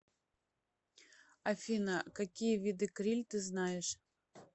афина какие виды криль ты знаешь